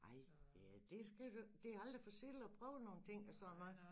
Ej det er det skal du det er aldrig for sent at prøve nogle ting og sådan noget